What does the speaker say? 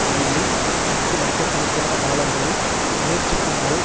நிதியில் பத்து லட்ச கணக்கான டாலர்களை முயற்சிக்குமாறு